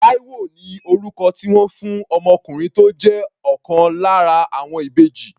Taiwo ni orúkọ tí wọ́n fún ọmọkùnrin tó jẹ́ ọ̀kan lára àwọn ìbejì.